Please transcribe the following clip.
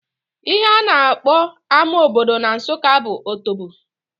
Ihe a na-akpọ ama obodo na Nsụka bụ Otobo